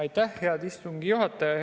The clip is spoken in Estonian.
Aitäh, hea istungi juhataja!